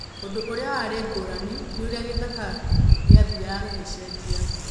Ũndũ ũrĩa warĩ ngũrani nĩ ũrĩa gĩthaka gĩathiaga gĩgĩcenjia.